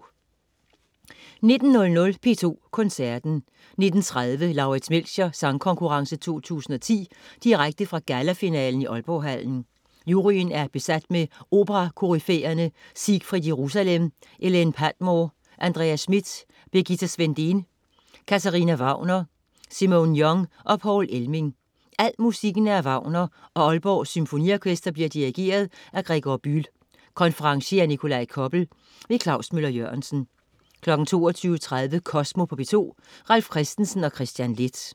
19.00 P2 Koncerten. 19.30 Lauritz Melchior Sangkonkurrence 2010. Direkte fra gallafinalen i Aalborghallen. Juryen er besat med operakoryfæerne Siegfried Jerusalem, Elaine Padmore, Andreas Schmidt, Birgitta Svendén, Katharina Wagner, Simone Young og Poul Elming. Al musikken er af Wagner og Aalborg Symfoniorkester bliver dirigeret af Gregor Bühl. Konferencier: Nikolaj Koppel. Klaus Møller-Jørgensen 22.30 Kosmo på P2. Ralf Christensen og Kristian Leth